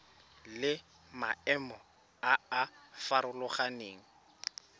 le maemo a a farologaneng